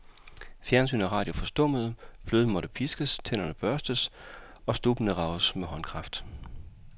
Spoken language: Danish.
Fjernsyn og radio forstummede, fløden måtte piskes, tænderne børstes og stubbene rages med håndkraft.